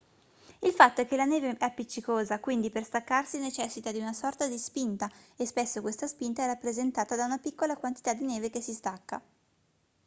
il fatto è che la neve è appiccicosa quindi per staccarsi necessita di una sorta di spinta e spesso questa spinta è rappresentata da una piccola quantità di neve che si stacca